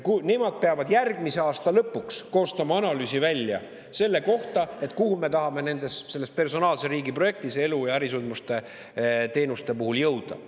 Nad peavad järgmise aasta lõpuks koostama analüüsi selle kohta, kuhu me tahame personaalse riigi projektis elu- ja ärisündmusteenustega jõuda.